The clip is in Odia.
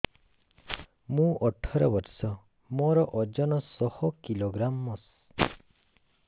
ମୁଁ ଅଠର ବର୍ଷ ମୋର ଓଜନ ଶହ କିଲୋଗ୍ରାମସ